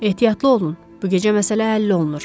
Ehtiyatlı olun, bu gecə məsələ həll olunur.